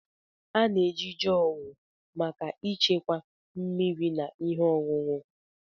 A na-eji Jọọgụ maka ịchekwa mmiri na ihe ọṅụṅụ.